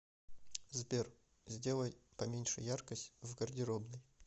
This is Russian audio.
сбер сделай поменьше яркость в гардеробной